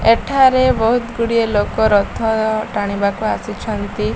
ଏଠାରେ ବହୁତ ଗୁଡ଼ିଏ ଲୋକ ରଥ ଅ ଟାଣିବାକୁ ଆସିଛନ୍ତି।